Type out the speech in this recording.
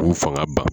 K'u fanga ban